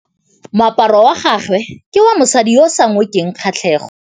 Moaparô wa gagwe ke wa mosadi yo o sa ngôkeng kgatlhegô.